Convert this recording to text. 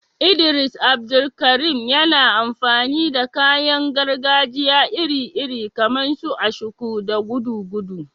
Idris Abdulkarim, yana amfani da kayan gargajiya iri-iri kamar su ashiko da gudugudu.